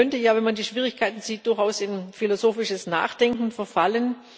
Man könnte ja, wenn man die Schwierigkeiten sieht, durchaus in philosophisches Nachdenken verfallen.